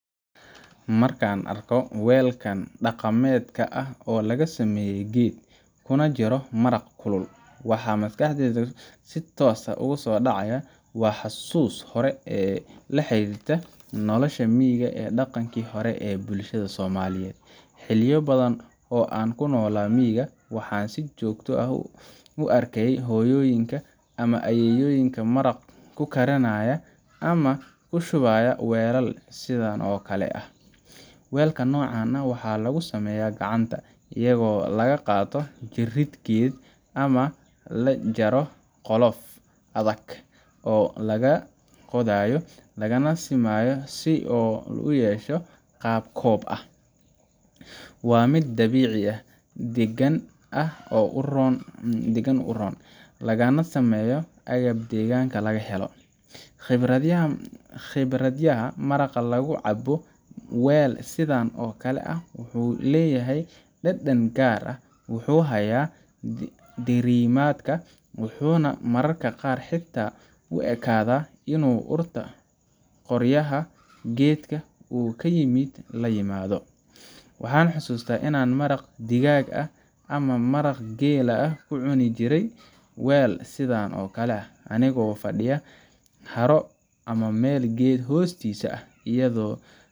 Marka aan arko weelkan dhaqameedka ah ee laga sameeyay geed, kuna jiro maraq kulul, waxa maskaxdayda si toos ah ugu soo dhacaya xasuus hore oo la xiriirta noloshii miyiga iyo dhaqankii hore ee bulshada Soomaaliyeed. Xilliyo badan oo aan ku noolaa miyiga, waxaan si joogto ah u arkay hooyooyinka ama ayeeyooyinka maraq ku karinaya ama ku shubaya weelal sidan oo kale ah. Weelka noocan ah waxaa lagu sameeyaa gacanta, iyadoo la qaato jirrid geed ah ama la jaro qolof adag oo laga qodayo, lana simayo si uu u yeesho qaab koob ah. Waa mid dabiici ah, degaan ahaan u roon, lagana sameeyo agab deegaanka laga helo. Khibraddayda, maraq lagu cabbo weel sidan oo kale ah wuxuu leeyahay dhadhan gaar ah wuxuu hayaa diirimaadka, wuxuuna mararka qaar xitaa u ekaadaa inuu urta qoryaha geedka uu ka yimid la yimaado. Waxaan xusuustaa inaan maraq digaag ah ama maraq geel ah ku cuni jiray weel sidan oo kale ah, anigoo fadhiya haro ama meel geed hoostiisa ah, iyadoo